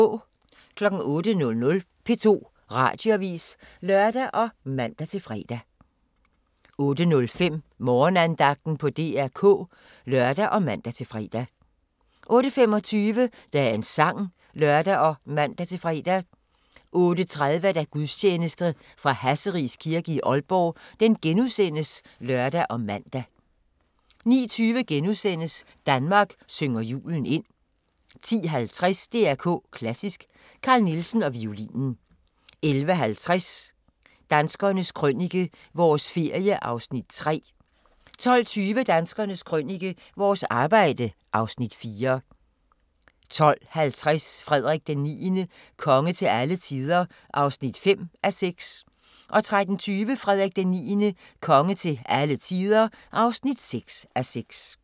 08:00: P2 Radioavis (lør og man-fre) 08:05: Morgenandagten på DR K (lør og man-fre) 08:25: Dagens sang (lør og man-fre) 08:30: Gudstjeneste fra Hasseris Kirke, Aalborg *(lør og man) 09:20: Danmark synger julen ind * 10:50: DR K Klassisk: Carl Nielsen og violinen 11:50: Danskernes Krønike – vores ferie (Afs. 3) 12:20: Danskernes Krønike - vores arbejde (Afs. 4) 12:50: Frederik IX – konge til alle tider (5:6) 13:20: Frederik IX – konge til alle tider (6:6)